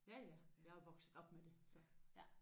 Ja ja jeg er jo vokset op med det så ja